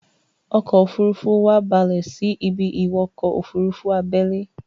ọkọ̀-òfurufú wa balè sí a ibi-ìwọkọ̀-òfurufú abẹ́lé